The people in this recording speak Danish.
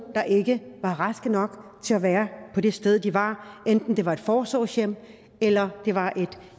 der ikke var raske nok til at være på det sted de var enten det var et forsorgshjem eller det var